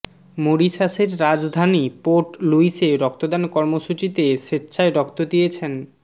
মরিশাসের রাজধানী পোর্ট লুইসে রক্তদান কর্মসূচিতে স্বেচ্ছায় রক্ত দিয়েছেন